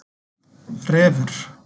Refur